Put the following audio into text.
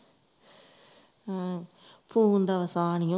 ਹੂ phone ਦਾ ਵਹਾਅ ਨਹੀਂ ਖਾਂਦੀ